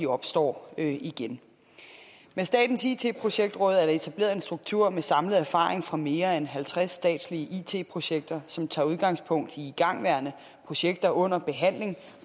opstår igen med statens it projektråd er der etableret en struktur med samlet erfaring fra mere end halvtreds statslige it projekter som tager udgangspunkt i igangværende projekter under behandling